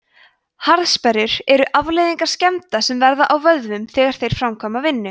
harðsperrur eru afleiðing skemmda sem verða í vöðvum þegar þeir framkvæma vinnu